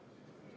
a 9. septembril.